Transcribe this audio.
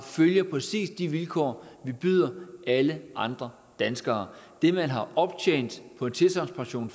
følger præcis de vilkår vi byder alle andre danskere det man har optjent på en tilsagnspension